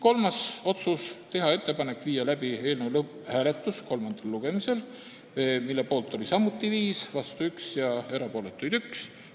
Kolmas otsus oli teha ettepanek viia kolmandal lugemisel läbi eelnõu lõpphääletus, mille poolt oli samuti 5, vastu oli 1 ja erapooletuks jäi 1.